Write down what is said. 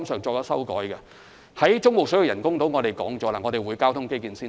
就中部水域人工島來說，政府已表明交通基建先行。